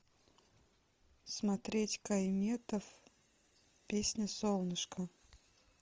смотреть кай метов песня солнышко